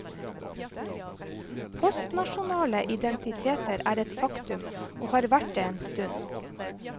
Postnasjonale identiteter er et faktum, og har vært det en stund.